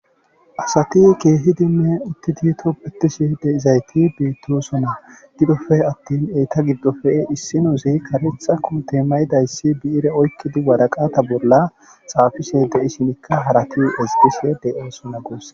Asati keehidinne uttidi tobbetishe de7izayti beettoosona gidoppe attin eeta gidoppe issinnozi kareetha koote mayidayssi bi7ire oykkidi waraqata bolla xaafishe de7ishinikka harati ezggishe de7oosona guussa.